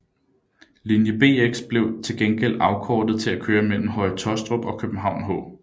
Linje Bx blev til gengæld afkortet til at køre mellem Høje Taastrup og København H